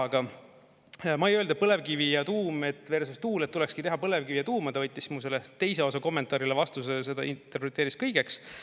Aga ma ei öelnud, et põlevkivi ja tuum versus tuul, et tulekski teha põlevkivi ja tuuma, ta võttis mu selle teise osa kommentaarile vastuse, seda interpreteeris kõigeks.